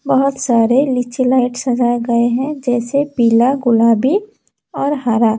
बहुत सारे नीचे लाइट सजाए गए हैं जैसे पीला गुलाबी और हरा।